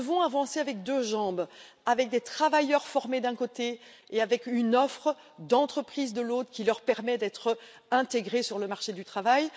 Nous devons avancer sur deux jambes des travailleurs formés, d'un côté, et une offre d'entreprises, de l'autre, qui leur permet d'être intégrés sur le marché du travail.